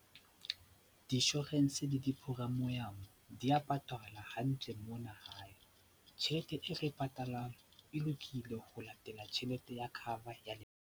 Di-insurance le di-premium di ya patala hantle mona hae. Tjhelete e re e patalang e lokile ho latela tjhelete ya cover ya lepato.